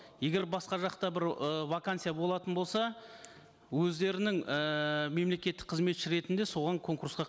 егер басқа жақта бір ы вакансия болатын болса өздерінің ііі мемлекеттік қызметші ретінде соған конкурсқа